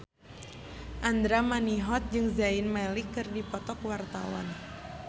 Andra Manihot jeung Zayn Malik keur dipoto ku wartawan